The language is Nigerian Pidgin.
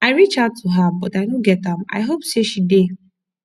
i reach out to her but i no get am i hope say she dey